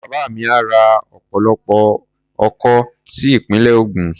Bàbá mi á ra ọ̀pọ̀lọpọ̀ oko sí ìpínlẹ̀ Ògùn.